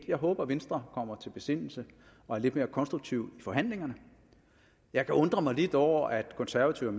jeg håber at venstre kommer til besindelse og er lidt mere konstruktive i forhandlingerne jeg kan undre mig lidt over at konservative